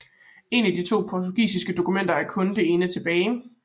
Af de to portugisiske dokumenter er kun det ene tilbage